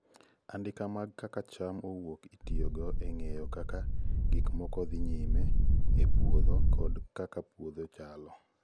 andika mag kaka cham owuok itiyo go e ng'eyo kaka gik moko dhi nyime e puodhokod kaka puodho chalo